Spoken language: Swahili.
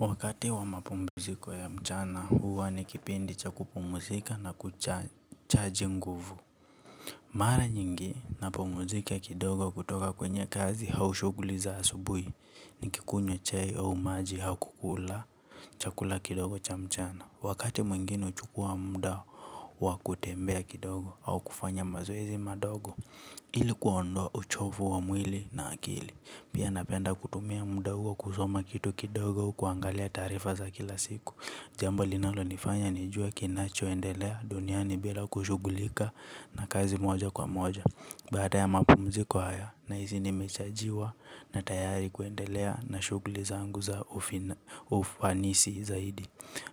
Wakati wa mapumuziko ya mchana huwa ni kipindi cha kupumuzika na kuchaji nguvu. Mara nyingi napumzika kidogo kutoka kwenye kazi au shughuli za asubuhi nikikunywa chai au maji au kukula chakula kidogo cha mchana. Wakati mwingine huchukua muda wa kutembea kidogo au kufanya mazoezi madogo ili kundoa uchovu wa mwili na akili. Pia napenda kutumia muda huo kusoma kitu kidogo kuangalia taarifa za kila siku. Jambo linalonifanya nijue kinachoendelea duniani bila kushughulika na kazi moja kwa moja. Baada ya mapumziko haya nahsi nimechajiwa na tayari kuendelea na shughuliza zangu za ufanisi zaidi.